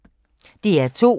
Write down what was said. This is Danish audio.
DR2